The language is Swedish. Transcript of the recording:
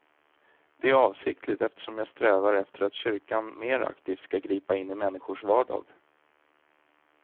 Det är avsiktligt eftersom jag strävar efter att kyrkan mer aktivt skall gripa in i människors vardag.